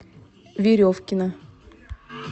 веревкина